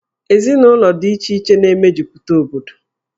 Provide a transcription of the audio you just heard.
Ezinụlọ dị iche iche na-emejupụta obodo.